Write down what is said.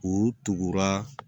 U tugura